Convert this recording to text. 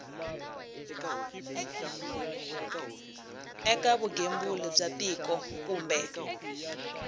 eka vugembuli bya tiko kumbe